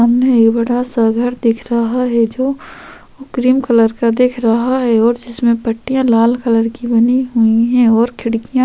सामने एक बड़ा-सा घर दिख रहा है जो क्रीम कलर का दिख रहा है और जिसमें पट्टियाँ लाल कलर की बनी हुई हैं और खिड़कियां --